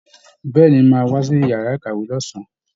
Bẹ̀ẹ́ni, mo máa wá sí yàrá ìkàwé ní ọ̀sán.